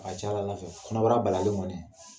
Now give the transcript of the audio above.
A ka c'a la Ala fɛ, kɔnɔbara balalen kɔni